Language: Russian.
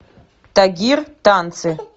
тагир танцы